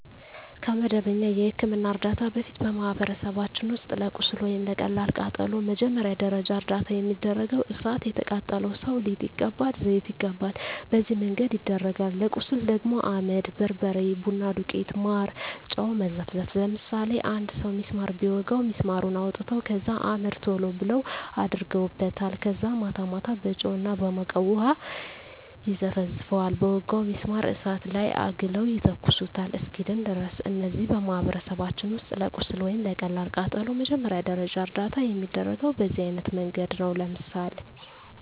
ከመደበኛ የሕክምና ዕርዳታ በፊት፣ በማኅበረሰባችን ውስጥ ለቁስል ወይም ለቀላል ቃጠሎ መጀመሪያ ደረጃ እርዳታ የሚደረገው እሣት የቃጠለው ሠው ሊጥ ይቀባል፤ ዘይት ይቀባል፤ በነዚህ መንገድ ይደረጋል። ለቁስል ደግሞ አመድ፤ በርበሬ፤ ቡና ዱቄት፤ ማር፤ በጨው መዘፍዘፍ፤ ለምሳሌ አንድ ሠው ቢስማር ቢወጋው ቢስማሩን አውጥተው ከዛ አመድ ቶሎ ብለው አደርጉበታል ከዛ ማታ ማታ በጨው እና በሞቀ ውሀ ይዘፈዝፈዋል በወጋው ቢስማር እሳት ላይ አግለው ይተኩሱታል እስኪድን ድረስ። እነዚህ በማኅበረሰባችን ውስጥ ለቁስል ወይም ለቀላል ቃጠሎ መጀመሪያ ደረጃ እርዳታ የሚደረገው በዚህ አይነት መንገድ ነው። ለምሳሌ